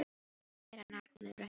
Þú verður að bera nafn með rentu.